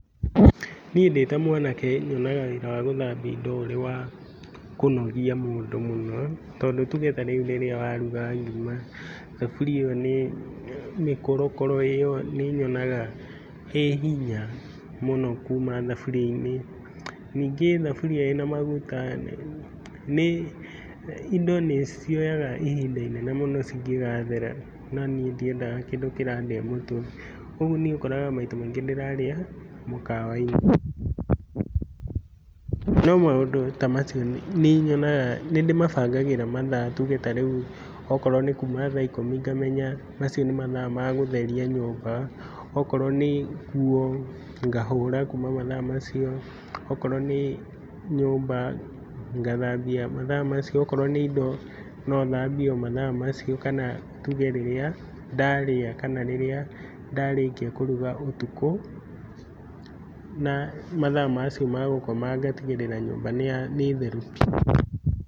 Niĩ ndĩ ta mwanake nyonaga wĩra wa gũthambia indo ũrĩ wa kũnogia mũndũ mũno, tondũ tuuge ta rĩu rĩrĩa waruga ngima, thaburia ĩyo nĩ, mĩkũro kũro ĩyo nĩnyonaga ĩ hinya mũno kuuma thaburia-inĩ. Ningĩ thaburia ĩna maguta nĩ, indo nĩcioyaga ihinda inene mũno cingĩgathera na niĩ ndiendaga kĩndũ kĩrandĩa mũtwe. Ũguo niĩ ũkoraga maita maingĩ ndĩraria mũkawainĩ. No maũndũ ta macio nĩnyonaga, nĩndĩmabangagĩra ta rĩu okorwo nĩ kuuma thaa ikũmi ngĩmenya macio nĩ mathaa ma gũtheria nyũmba, okorwo nĩ nguo ngahũra kuuma mathaa macio, okorwo nĩ nyũmba, ngathambia mathaa macio, okorwo nĩ indo no thambie o mathaa macio kana tuuge rĩrĩa ndarĩa kana rĩrĩa ndarĩkia kũruga ũtukũ, na mathaa macio ma gũkoma ngatigĩrĩra nyumba nĩya nĩtheru biũ.